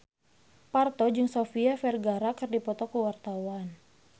Parto jeung Sofia Vergara keur dipoto ku wartawan